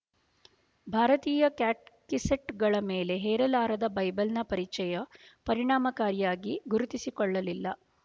ಭಾರತೀಯ ಕ್ಯಾಟೆಕಿಸ್ಟ್‌ಗಳ ಮೇಲೆ ಹೇರಲಾರದ ಬೈಬಲ್‍ನ ಪರಿಚಯು ಪರಿಣಾಮಕಾರಿಯಾಗಿ ಗುರುತಿಸಿಕೊಳ್ಳಲಿಲ್ಲ